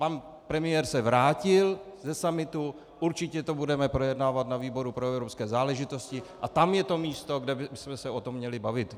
Pan premiér se vrátil ze summitu, určitě to budeme projednávat na výboru pro evropské záležitosti a tam je to místo, kde bychom se o tom měli bavit.